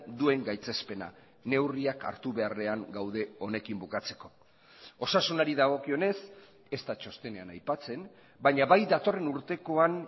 duen gaitzespena neurriak hartu beharrean gaude honekin bukatzeko osasunari dagokionez ez da txostenean aipatzen baina bai datorren urtekoan